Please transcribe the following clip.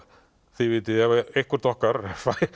þið vitið ef eitthvert okkar